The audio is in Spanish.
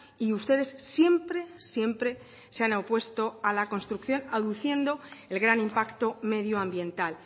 y ustedes siempre siempre se han opuesto a la construcción aduciendo el gran impacto medio ambiental